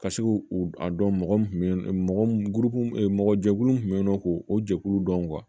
Ka se k'u u dɔn mɔgɔ mun bɛ yen mɔgɔ jɛkulu min tun bɛ yen nɔ k'o jɛkulu dɔn